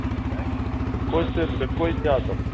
концерт какой-то